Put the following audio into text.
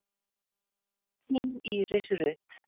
Þín Íris Rut.